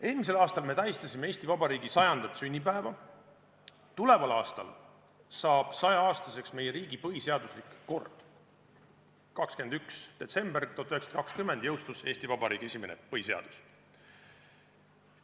Eelmisel aastal me tähistasime Eesti Vabariigi 100. sünnipäeva, tuleval aastal saab 100-aastaseks meie riigi põhiseaduslik kord – 21. detsembril 1920 jõustus Eesti Vabariigi esimene põhiseadus.